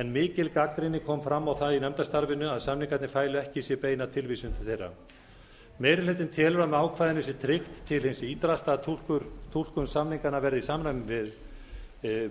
en mikil gagnrýni kom fram á það í nefndarstarfinu að samningarnir fælu ekki í sér beina tilvísun til þeirra meiri hlutinn telur að með ákvæðinu sé tryggt til hins ýtrasta að túlkun samninganna verði í samræmi við